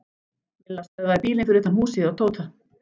Milla stöðvaði bílinn fyrir utan húsið hjá Tóta.